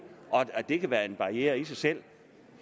og det kan være en barriere i sig selv